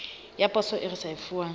ya poso e sa risefuwang